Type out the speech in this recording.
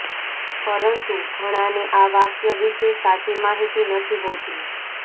પરંતુ ઘણાને આ વાક્ય વિશે સાચી માહિતી નથી હોતી